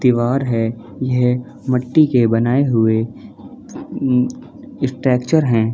दीवार हैं यह मट्टी के बनाए हुए उम्म स्ट्रेचर हैं ।